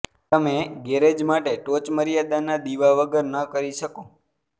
તમે ગેરેજ માટે ટોચમર્યાદાના દીવા વગર ન કરી શકો